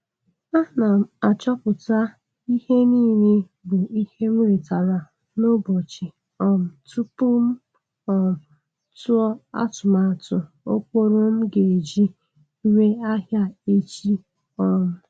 Ana m achọpụta ihe n'ile bụ ihe m retara n'ụbọchi um tupu.m um tụọ atụmatụ ụkpụrụ m ga-eji ree ahịa echi. um